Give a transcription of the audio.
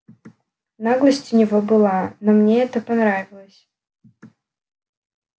наглость у него была но мне это понравилось